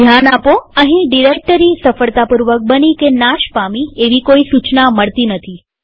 ધ્યાન આપોઅહીં ડિરેક્ટરી સફળતાપૂર્વક બની કે નાશ પામી એવી કોઈ સુચના મળતી નથી